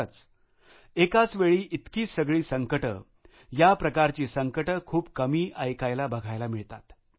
खरच एकाच वेळी इतकी सगळी संकटं या प्रकारची संकटं खूप कमी ऐकायलाबघायला मिळतात